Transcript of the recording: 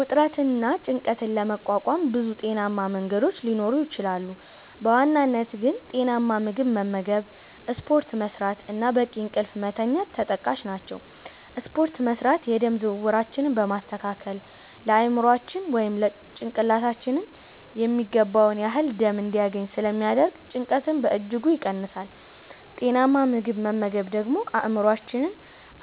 ውጥረትንና ጭንቀትን ለመቋቋም ብዙ ጤናማ መንገዶች ሊኖሩ ይችላሉ፤ በዋናነት ግን ጤናማ ምግብ መመገብ፣ ስፖርት መስራት እና በቂ እንቅልፍ መተኛት ተጠቃሽ ናቸው። ስፖርት መስራት የደም ዝውውራችንን በማስተካከል ለአእምሯችን (ጭንቅላታችን) የሚገባውን ያህል ደም እንዲያገኝ ስለሚያደርግ ጭንቀትን በእጅጉ ይቀንሳል። ጤናማ ምግብ መመገብ ደግሞ አእምሯችን